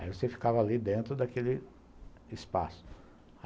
Aí você ficava ali dentro daquele espaço.